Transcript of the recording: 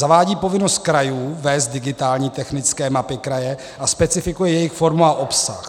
Zavádí povinnost krajů vést digitální technické mapy kraje a specifikuje jejich formu a obsah.